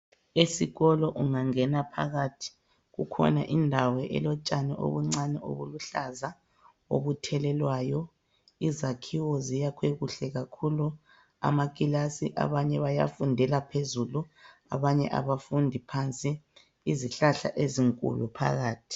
Esikolo ungangena phakathi kukhona indawo elotshani obuncane obuluhlaza obuthelelwayo. Izakhiwo ziyakhwe kuhle kakhulu. Amakilasi abanye bayafundela phezulu abanye abafundi phansi. Izihlahla ezinkulu phakathi.